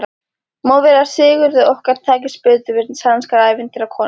Má vera að Sigurði okkar takist betur við sænskar ævintýrakonur.